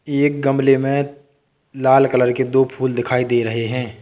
एक गमले में लाल कलर के दो फूल दिखाई दे रहे हैं।